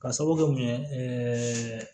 Ka sababu kɛ mun ye